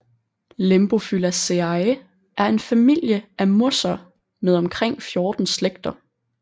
Lembophyllaceae er en familie af mosser med omkring 14 slægter